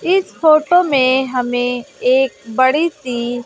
इस फोटो में हमें एक बड़ी सी--